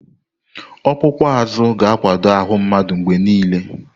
Ọkpụkpụ azụ ga-akwado ahụ mmadụ mgbe niile.